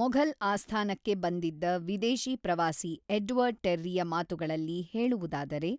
ಮೊಘಲ್ ಆಸ್ಥಾನಕ್ಕೆ ಬಂದಿದ್ದ ವಿದೇಶಿ ಪ್ರವಾಸಿ ಎಡ್ವರ್ಡ್ ಟೆರ್ರಿಯ ಮಾತುಗಳಲ್ಲಿ ಹೇಳುವುದಾದರೆ,